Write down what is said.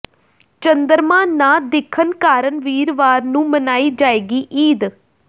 ਚੰਦਰਮਾ ਨਾ ਦਿਖਣ ਕਾਰਨ ਵੀਰਵਾਰ ਨੂੰ ਮਨਾਈ ਜਾਏਗੀ ਈਦ